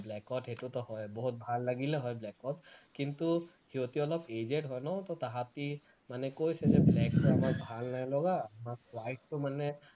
black ত সেইটোতো হয় বহুত ভাল লাগিলে হয় black ত কিন্তু সিহঁতি অলপ aged হয় ন তো তাহাঁতি মানে কৈছে যে black টো আমাৰ ভাল নাই লগা আমাক white টো মানে